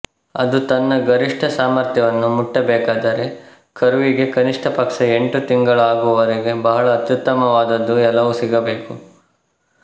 ಅದು ತನ್ನ ಗರಿಷ್ಠ ಸಾಮರ್ಥ್ಯವನ್ನು ಮುಟ್ಟಬೇಕಾದರೆ ಕರುವಿಗೆ ಕನಿಷ್ಠಪಕ್ಷ ಎಂಟು ತಿಂಗಳು ಆಗುವವರೆಗೆ ಬಹಳ ಅತ್ಯುತ್ತಮವಾದದ್ದು ಎಲ್ಲವೂ ಸಿಗಬೇಕು